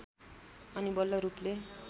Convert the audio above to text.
अनि बल्ल रूपले